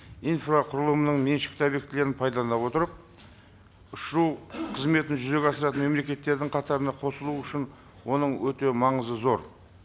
инфрақұрылымының меншікті объектілерін пайдалана отырып ұшу қызметін жүзеге асыратын мемлекеттердің қатарына қосылу үшін оның өте маңызы зор